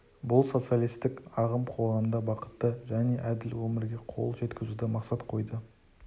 бұл социалистік ағым қоғамда бақытты және әділ өмірге қол жеткізуді мақсат қойды